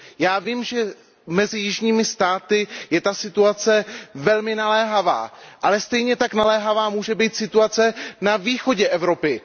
Já vím, že mezi jižními státy je ta situace velmi naléhavá, ale stejně tak naléhavá může být situace na východě Evropy.